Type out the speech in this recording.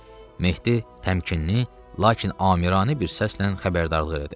Mehdi təmkinli, lakin amiranə bir səslə xəbərdarlıq elədi.